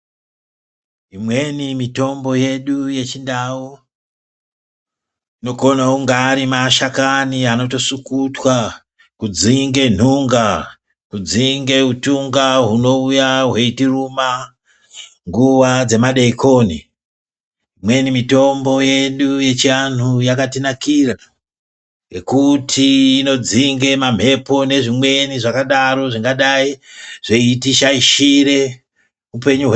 Imweni mitombo yedu yechindau inokona kunga ari mashakani anotosukutwa kudzinge nhunga, adzinge utunga hunouya hweitiruma nguwa dzemadeekoni. Imweni mitombo yedu yechianhu yakatinakira, ngekuti inodzinge mamhepo nezvimweni zvakadaro zvingadai zveitishaishire upenyu hwedu.